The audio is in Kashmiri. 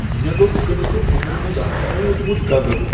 مےٚ لوٚب کٕنکہٕ بۄہر منز اکھ مودمت گگر۔